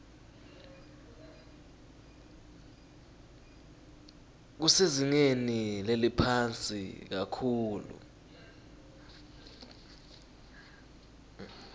kusezingeni leliphansi kakhulu